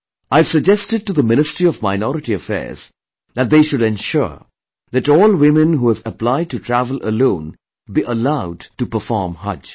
I have suggested to the Ministry of Minority Affairs that they should ensure that all women who have applied to travel alone be allowed to perform Haj